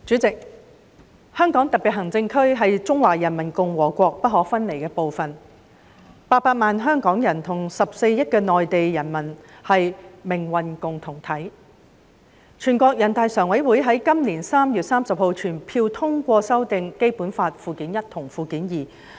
代理主席，香港特別行政區是中華人民共和國不可分離的部分 ，800 萬香港人跟14億內地人民是命運共同體，全國人民代表大會常務委員會在今年3月30日全票通過修訂《基本法》附件一及附件二。